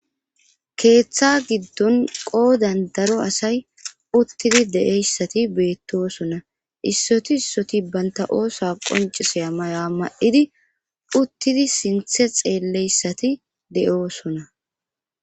keeththa giddon qoodan daro asay uttidi de7eyssati beettosona issoti issoti banta oosa qonciseya mayoa ma7idi uttidi sinthe xeelleyssati de7oosona